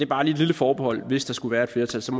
bare et lille forbehold hvis der skulle være et flertal så